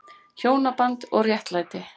HJÓNABAND OG RÉTTLÆTI